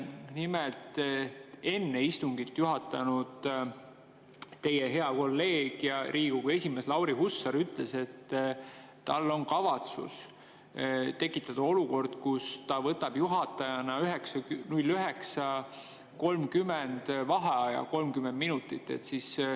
Nimelt, enne istungit juhatanud teie hea kolleeg ja Riigikogu esimees Lauri Hussar ütles, et tal on kavatsus tekitada olukord, kus ta võtab juhatajana kell 09.30 vaheaja 30 minutit.